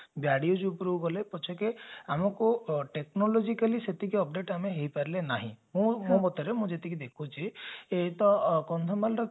barrage ଉପରକୁ ଗଲେ ପଛକେ ଆମକୁ technologically ଆମେ ସେତିକି update ଆମେ ହେଇପାରିଲେ ନାହିଁ ତେଣୁ ମୋ ମତରେ ମୁଁ ଯେତିକି ଦେଖୁଛି ଏ ତ କନ୍ଧମାଳ ର କିଛି